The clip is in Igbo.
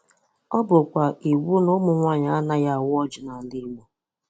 Ọ bụkwa iwu na ụmụ nwanyị anaghị awa ọjị n’ala Igbo.